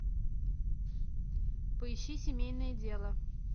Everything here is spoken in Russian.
поищи семейное дело